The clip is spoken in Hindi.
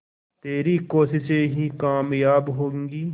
तेरी कोशिशें ही कामयाब होंगी